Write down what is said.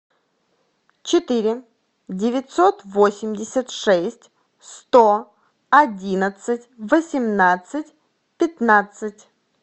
четыре девятьсот восемьдесят шесть сто одиннадцать восемнадцать пятнадцать